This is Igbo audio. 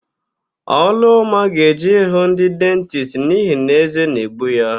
Ọlụọma ga-eje ịhụ ndị dentisti n'ihi na ézé na-egbu ya.